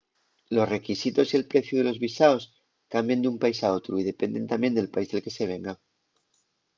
los requisitos y el preciu de los visaos cambien d’un país a otru y dependen tamién del país del que se venga